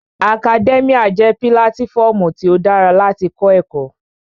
Akadẹ́míà jẹ́ pílátífọmu tí ó dára láti kọ́ ẹ̀kọ́